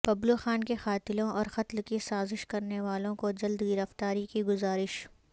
ببلوخان کے قاتلوں اور قتل کی سازش کرنے والوں کو جلد گرفتاری کی گذارش